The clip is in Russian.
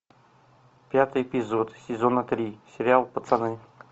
пятый эпизод сезона три сериал пацаны